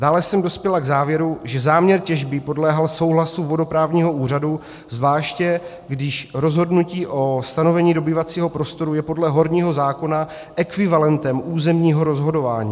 Dále jsem dospěla k závěru, že záměr těžby podléhá souhlasu vodoprávního úřadu, zvláště když rozhodnutí o stanovení dobývacího prostoru je podle horního zákona ekvivalentem územního rozhodování.